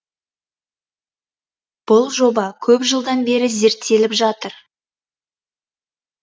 бұл жоба көп жылдан бері зерттеліп жатыр